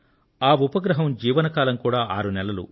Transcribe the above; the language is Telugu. ఆ ఉపగ్రహం జీవన కాలం కూడా ఆరు నెలలు